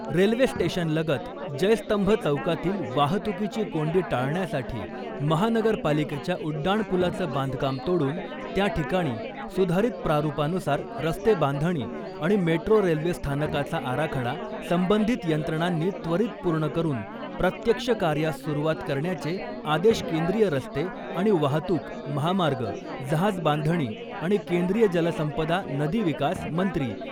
railway स्टेशनलगत जयस्तंभ चौकातील वाहतूकीची कोंडी टाळण्यासाठी महानगरपालिकेच्या उड्डाणपुलाचं बांधकाम तोडून त्या ठिकाणी सुधारित प्रारूपानुसार रस्ते बांधणी आणि मेट्रो रेल्वेस्थानकाचा आराखडा संबंधित यंत्रणांनी त्वरित पूर्ण करून प्रत्यक्ष कार्यास सुरुवात करण्याचे आदेश केंद्रीय रस्ते आणि वाहतूक, महामार्ग, जहाजबांधणी आणि केंद्रीय जलसंपदा, नदी विकास मंत्री